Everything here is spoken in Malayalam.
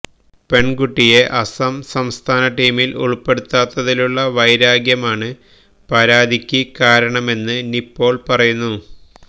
പെണ്കുട്ടിയെ അസം സംസ്ഥാന ടീമില് ഉള്പ്പെടുത്താത്തതിലുളള വൈരാഗ്യമാണ് പരാതിക്ക് കാരണമെന്ന് നിപ്പോള് പറയുന്നു